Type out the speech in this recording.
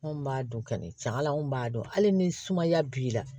Anw b'a dun saka la anw b'a dɔn hali ni sumaya b'i la